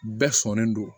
Bɛɛ sɔnnen don